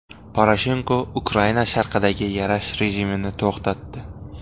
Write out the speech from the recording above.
Poroshenko Ukraina sharqidagi yarash rejimini to‘xtatdi.